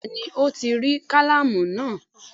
Bẹ́ẹ̀ni Ó ti rí kálámù náà